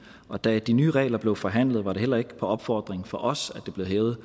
og da de nye regler blev forhandlet var det heller ikke på opfordring fra os at det blev hævet